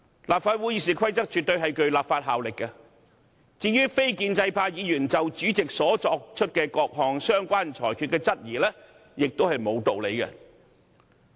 立法會《議事規則》絕對具有立法效力，至於非建制派議員就主席所作各項相關裁決的質疑亦沒有道理。